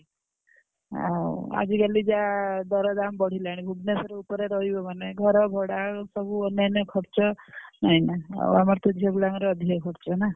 ଅଁ ଆଜି କାଲି ଯାହା ଦର ଦାମ ବଢିଲାଣି ଭୁବନେଶ୍ବର ଉପରେ ରହିବୁ ମାନେ ଘର ଭଡା ସବୁ ଅନ୍ୟାନ ଖର୍ଚ୍ଚ ନାଇନା ଆଉ ଆମର ତ ଝିଅ ପିଲାଙ୍କର ଅଧିକ ଖର୍ଚ ନା।